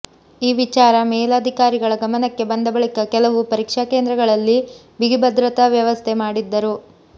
ಈ ವಿಚಾರ ಮೇಲಧಿಕಾರಿಗಳ ಗಮನಕ್ಕೆ ಬಂದ ಬಳಿಕ ಕೆಲವು ಪರೀಕ್ಷಾ ಕೇಂದ್ರಗಳಲ್ಲಿ ಬಿಗಿ ಭದ್ರತಾ ವ್ಯವಸ್ಥೆ ಮಾಡಿದ್ದರು